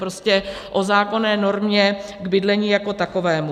Prostě o zákonné normě k bydlení jako takovému.